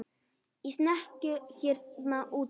Í snekkju hérna úti fyrir!